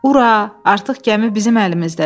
Ura, artıq gəmi bizim əlimizdədir.